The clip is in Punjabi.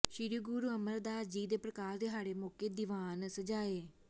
ਸ੍ਰੀ ਗੁਰੂ ਅਮਰਦਾਸ ਜੀ ਦੇ ਪ੍ਰਕਾਸ਼ ਦਿਹਾੜੇ ਮੌਕੇ ਦੀਵਾਨ ਸਜਾਏ